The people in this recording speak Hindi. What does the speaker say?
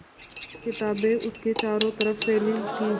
किताबें उसके चारों तरफ़ फैली थीं